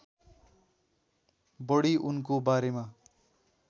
बढी उनको बारेमा